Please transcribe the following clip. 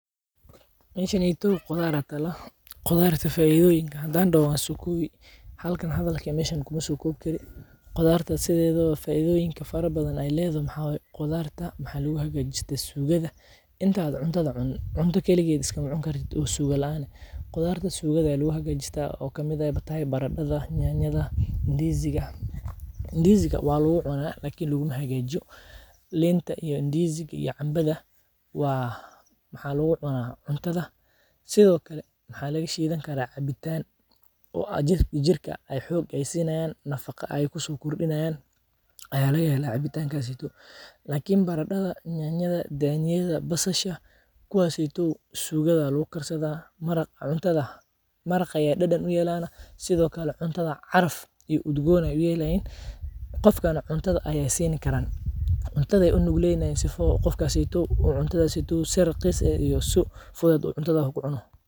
Meshaneyto qudhaar aya tala, qudhaarta faidoyiinka hadan daho waan so kowi halkan hadhalka eh meshan ku ma sokowi kari, qudhaarta sithedawo faidonyinka faraha badan oo ee ledhoho maxaa waye, qudhaarta maxaa lagu hagajistaa sugaada, intaa cuntaada cunin, cunta kaligeed iskama cuni kartiid o suuga laan ah, qudhaar sugaada aya lagu hagajistaa oo ee kamiid tahay baradadha, nyanyada, indiiziigaa, indiiziiga waa lagu cunaa Lakin laguma hagajiyo, liinta iyo indiuziiga iyo canbaadha maxaa lagu cunaa cuntadha, sithokale maxaa laga shiidan karaa cabitan, oo jirkaa nafaqa ee kusokordinayaan aya laga hela cabitankaseyto, lakin baraadadha, nyanyada, daniyaada, basasha kuwaseto sugaada aya lagu karsadhaa, maraaq cuntaada ayey dadan u yelan, sithokalana caraf iyo udgon ayey u yelan, qofkana cuntadha ayey sini karan, cuntadha ayey u nugleynayin sifa qofkaseto cuntadha seto si raqiis iyo sifuduud cuntada ku cuno.